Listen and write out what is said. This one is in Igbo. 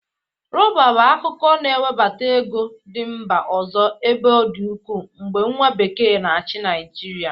Rọba bụ akụkụ na-ewebata ego ndị mba ọzọ ebe ọ dị ụkwụ mgbe nwa bekee n'achị Nịajịrịa.